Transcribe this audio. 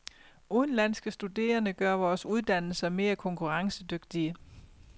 Udenlandske studerende gør vores uddannelser mere konkurrencedygtige.